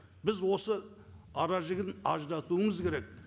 біз осы ара жігін аздатуымыз керек